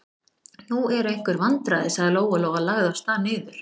Nú eru einhver vandræði, sagði Lóa-Lóa og lagði af stað niður.